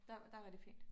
Der der rigtig fint